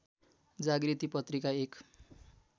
जागृति पत्रिका एक